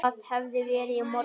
Það hafði verið í morgun.